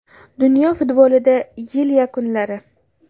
Dunyo futbolida yil yakunlari.